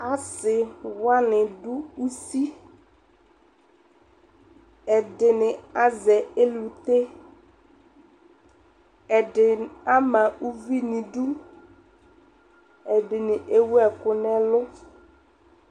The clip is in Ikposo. Asi wani dʋ usi, ɛdini azɛ elute, ɛdini ama uvi n'idu, ɛdini ewu ɛkʋ n'ɛlʋ